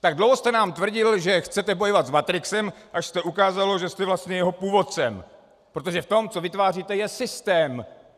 Tak dlouho jste nám tvrdil, že chcete bojovat s matrixem, až jste ukázal, že jste vlastně jeho původcem, protože v tom, co vytváříte, je systém.